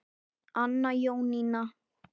Anna Jónína.